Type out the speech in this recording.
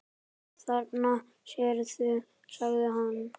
Þarna sérðu, sagði hann.